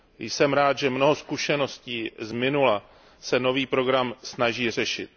Jsem rád, že mnoho zkušeností z minula se nový program snaží řešit.